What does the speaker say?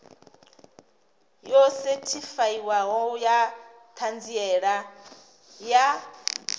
yo sethifaiwaho ya ṱhanziela ya